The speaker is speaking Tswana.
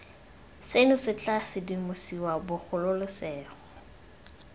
seno se tla sedimosiwa bogolosegolo